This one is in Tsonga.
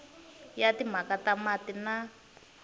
ya timhaka ta mati na